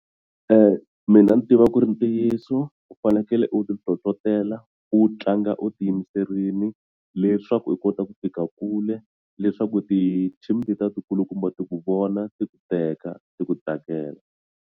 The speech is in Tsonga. Mina ni tiva ku ri ntiyiso u fanekele u ti nhlohlotelo u tlanga u tiyimiserile leswaku u kota ku fika kule leswaku ti team letiya ti kulukumba ti ku vona ti ku teka ti ku tsakela.